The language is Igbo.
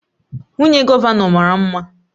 Nwunye gọvanọ mara mma